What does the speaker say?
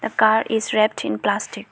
The car is wrapped in plastic.